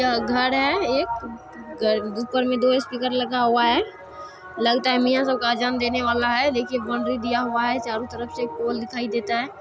यह घर है एक ऊपर में दो स्पीकर लगा हुआ है लगता है मियां सबका अजान देने वाला है देखिए बाउंड्री दिया हुआ है चारों तरफ से पोल दिखाई देता है।